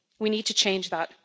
We need to change that.